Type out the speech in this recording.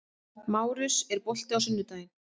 Márus, er bolti á sunnudaginn?